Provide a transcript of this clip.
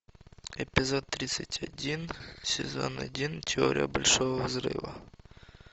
эпизод тридцать один сезон один теория большого взрыва